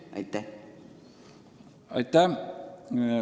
Aitäh!